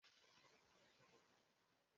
Onye nyere gi trowel?